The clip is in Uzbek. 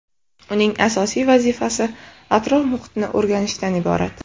Uning asosiy vazifasi atrof-muhitni o‘rganishdan iborat.